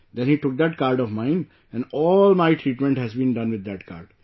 Then he took that card of mine and all my treatment has been done with that card